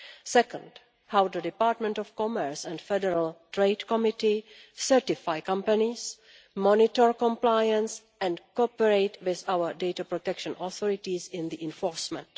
Second, how the Department of Commerce and Federal Trade Committee certify companies, monitor compliance and cooperate with our data protection authorities in the enforcement.